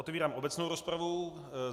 Otevírám obecnou rozpravu.